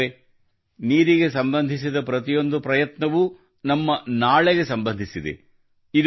ಸ್ನೇಹಿತರೇ ನೀರಿಗೆ ಸಂಬಂಧಿಸಿದ ಪ್ರತಿಯೊಂದು ಪ್ರಯತ್ನವೂ ನಮ್ಮ ನಾಳೆಗೆ ಸಂಬಂಧಿಸಿದೆ